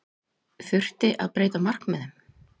Þurfti að breyta markmiðum?